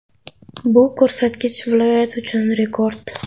Bu ko‘rsatkich viloyat uchun rekord.